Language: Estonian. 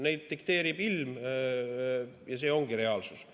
Seda dikteerib ilm ja see ongi reaalsus.